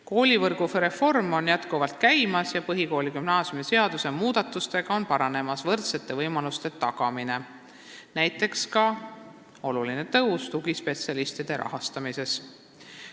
Koolivõrgu reform jätkuvalt käib ning põhikooli- ja gümnaasiumiseaduse muudatused aitavad parandada võrdsete võimaluste tagamist, näiteks toimub oluline tõus tugispetsialistide rahastamises.